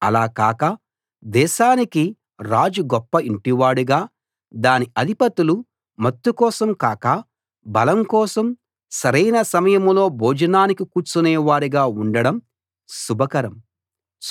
అలా కాక దేశానికి రాజు గొప్ప ఇంటివాడుగా దాని అధిపతులు మత్తు కోసం కాక బలం కోసం సరైన సమయంలో భోజనానికి కూర్చునే వారుగా ఉండడం శుభకరం